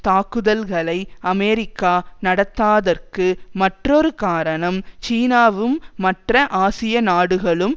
தாக்குதல்களை அமெரிக்கா நடத்தாதற்கு மற்றொரு காரணம் சீனாவும் மற்ற ஆசிய நாடுகளும்